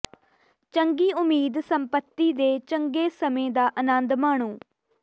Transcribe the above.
ਚੰਗੀ ਉਮੀਦ ਸੰਪੱਤੀ ਦੇ ਚੰਗੇ ਸਮੇਂ ਦਾ ਆਨੰਦ ਮਾਣੋ